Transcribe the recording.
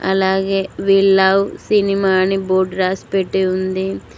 అలాగే వీళ్ళవ్ సినిమాని బోర్డు రాసి పెట్టి ఉంది.